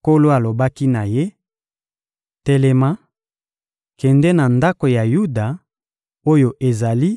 Nkolo alobaki na ye: — Telema, kende na ndako ya Yuda, oyo ezali